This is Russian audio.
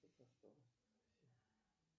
джой